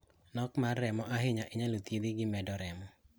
Nok mar remo ma ahinya inyalo thiedhi gi medo remo.